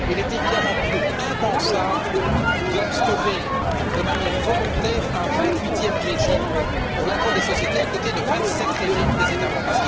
Il est évidemment pour nous impensable d'instaurer, de manière volontaire, un vingt huitième régime pour l'impôt sur les sociétés à côté des vingt sept régimes des États membres.